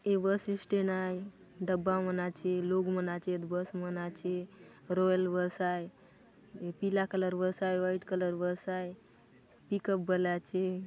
ये bus stand आए डब्बा मन आचे लोग मन आचेतबस मन आचे रॉयल बस आय पीला कलर बस आय व्हाइट कलर बस आय पिकप बले आचे।